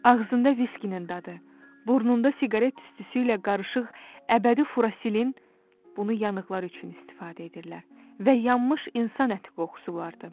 Ağzında viskinin dadı, burnunda siqaret tüstüsü ilə qarışıq əbədi furasilin (bunu yanıqlar üçün istifadə edirlər) və yanmış insan əti qoxusu vardı.